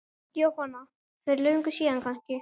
Jóhanna: Fyrir löngu síðan kannski?